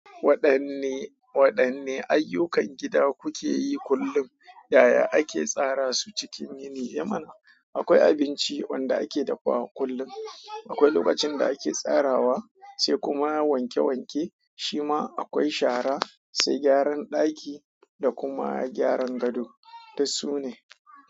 Waɗanne, waɗanne ayyukan gida kuke yi kullum? Ya ya ake tsara su cikin yini. E mana, akwai abinci wanda ake dafawa kullum, akwai lokacin da ake tsarawa, sai kuma wanke wanke, shima akwai shara, sai gyaran ɗaki da kuma gyaran gado. Duk su ne.